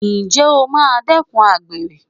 Ǹjẹ́ o máa dẹ́kun àgbèrè?